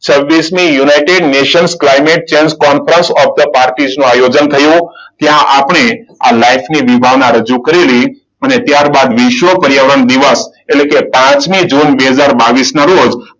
છવ્વીસમી united nation climate change conference of the પાર્ટીસનું આયોજન થયું. ત્યાં આપણે આ લાઈફની વિભાવના રજુ કરેલી. અને ત્યારબાદ વિશ્વ પર્યાવરણ દિવસ એટલે કે પાંચમી જૂન બે હજાર બાવીસના રોજ